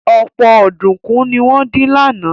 Ọ̀pọ̀ ọ̀dùnkún ni wọ́n dín lánàá